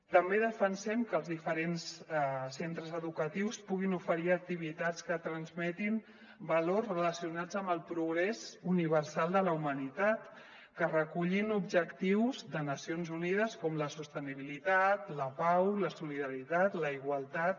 també defensem que els diferents centres educatius puguin oferir activitats que transmetin valors relacionats amb el progrés universal de la humanitat que recullin objectius de nacions unides com la sostenibilitat la pau la solidaritat la igualtat